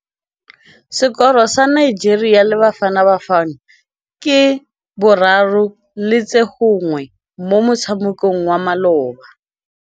Sekôrô sa Nigeria le Bafanabafana ke 3-1 mo motshamekong wa malôba.